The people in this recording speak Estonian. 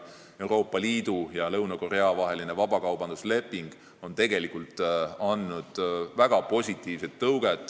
Euroopa Liidu ja Lõuna-Korea vaheline vabakaubandusleping on tegelikult andnud väga positiivse tõuke.